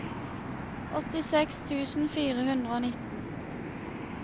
åttiseks tusen fire hundre og nitten